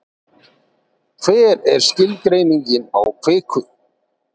hver er skilgreining á kviku